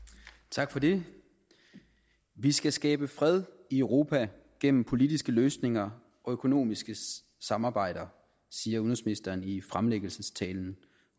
tak for det vi skal skabe fred i europa gennem politiske løsninger og økonomiske samarbejder siger udenrigsministeren i fremlæggelsestalen